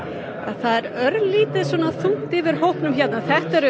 það er örlítið þungt yfir hópnum hér eru